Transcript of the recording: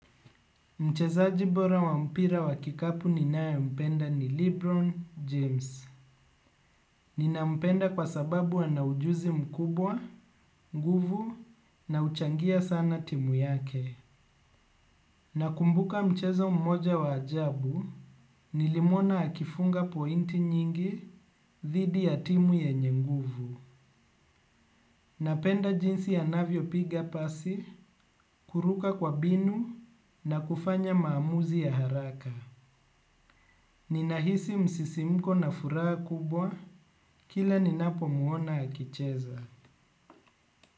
Mchezaji bora wa mpira wa kikapu ninaye mpenda ni Lebron James. Nina mpenda kwa sababu ana ujuzi mkubwa, nguvu na uchangia sana timu yake. Nakumbuka mchezo mmoja wa ajabu, nilimuona akifunga pointi nyingi, thidi ya timu yenye nguvu. Napenda jinsi anavyo piga pasi, kuruka kwa binu na kufanya maamuzi ya haraka. Ninahisi msisimko na furaha kubwa, kila ninapomuona akicheza.